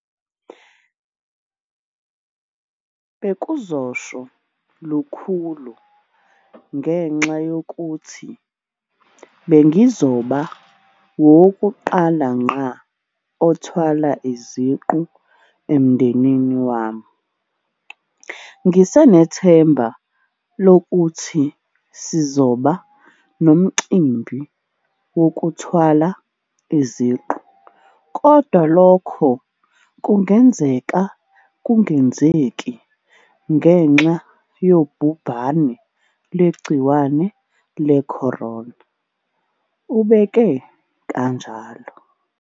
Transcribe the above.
"Bewuzosho lukhulu ngenxa yokuthi bengizoba ngowokuqala ngqa othwala iziqu emndenini wami. Ngisenethemba lokuthi sizoba nomcimbi wokuthwala iziqu, kodwa lokhu kungenzeka kungenzeki ngenxa yobhubhane lwegciwane le-corona," ubeke kanjalo.